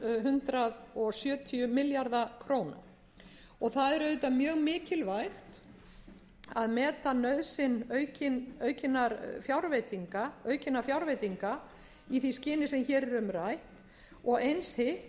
hundrað sjötíu milljarða króna það er auðvitað mjög mikilvægt að meta nauðsyn aukinna fjárveitinga í því skyni sem hér er um rætt og eins hitt